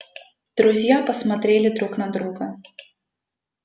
друзья посмотрели друт на друга